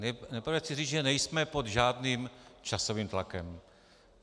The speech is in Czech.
Nejprve chci říct, že nejsme pod žádným časovým tlakem.